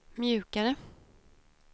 mjukare